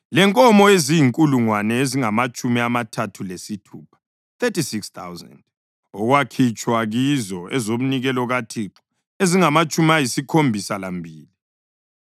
lenkomo eziyizinkulungwane ezingamatshumi amathathu lesithupha (36,000), okwakhitshwa kizo ezomnikelo kaThixo ezingamatshumi ayisikhombisa lambili;